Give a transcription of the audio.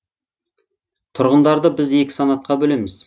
тұрғындарды біз екі санатқа бөлеміз